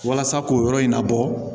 Walasa k'o yɔrɔ in labɔ